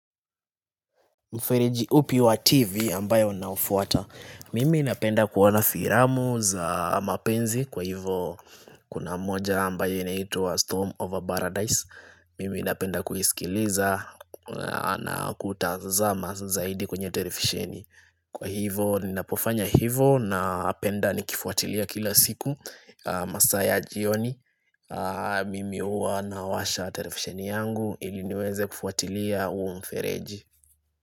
Mfereji upi wa TV ambayo unaufuata. Mimi inapenda kuona filamu za mapenzi kwa hivo kuna moja ambayo inaitwa Storm over Paradise. Mimi inapenda kuisikiliza na kutazama zaidi kwenye televisheni. Kwa hivo ninapofanya hivo napenda nikifuatilia kila siku masaa ya jioni. Mimi huwa nawasha televisheni yangu ili niweze kufuatilia huo mfereji.